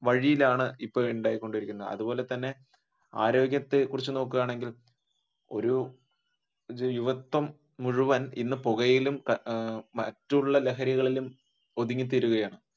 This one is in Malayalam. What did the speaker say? വഴിയിലാണ് ഇപ്പൊ ഉണ്ടായിക്കൊണ്ടിരിക്കുന്നത് അതുപോലെ തന്നെ ആരോഗ്യത്തെ കുറിച്ച് നോക്കുകയാണെങ്കിൽ ഒരു യുവത്വം മുഴുവൻ ഇന്ന് പുകയിലും അഹ് മറ്റുള്ള ലഹരികളിലും ഒതുങ്ങിത്തീരുകയാണ്